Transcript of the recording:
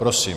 Prosím.